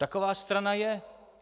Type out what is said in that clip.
Taková strana je.